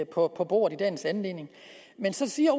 på bordet i dagens anledning så siger